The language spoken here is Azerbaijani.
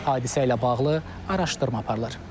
Hadisə ilə bağlı araşdırma aparılır.